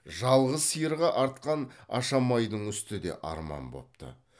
жалғыз сиырға артқан ашамайдың үсті де арман бопты